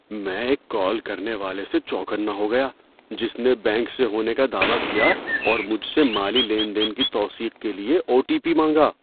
میں ایک کال کرنے والے سے چوکنا ہو گیا جس نے بینک سے ہونے کا دعوی کیا اور مجھ سے مالی لین دین کی توثیق کے لیے او ٹی پی مانگا۔